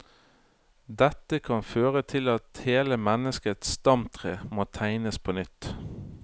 Dette kan føre til at hele menneskets stamtre må tegnes på nytt.